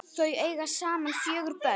Þau eiga saman fjögur börn.